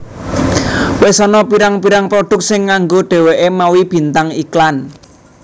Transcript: Wis ana pirang pirang produk sing nganggo dheweke mawi bintang iklan